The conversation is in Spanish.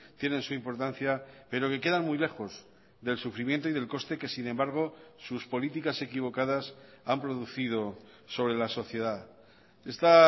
tienen su importancia pero que quedan muy lejos del sufrimiento y del coste que sin embargo sus políticas equivocadas han producido sobre la sociedad esta